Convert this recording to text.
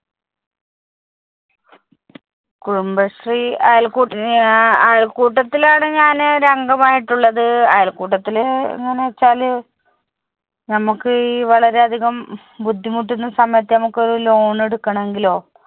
കുടുംബശ്രീ അയൽക്കൂട്ട ഞാ അയൽക്കൂട്ടത്തിലാണ് ഞാന് ഒര് അംഗമായിട്ടുള്ളത്. അയൽക്കൂട്ടത്തില് എങ്ങനെ വെച്ചാല് നമ്മുക്ക് വളരെയധികം ഹും ബുദ്ധിമുട്ടുന്ന സമയത്ത് ഞമ്മക്കൊരു loan എടുക്കണെങ്കിലോ